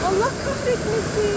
Allah qəhr etməsin.